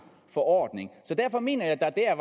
forordning så derfor mener jeg at der dér